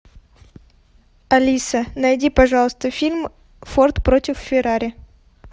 алиса найди пожалуйста фильм форд против феррари